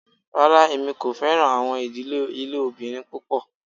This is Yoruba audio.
Rárá, èmi kò fẹ̀ràn awọn idílé ilẹòbìrín pupọ̀